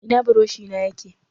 Ina buroshi na yake?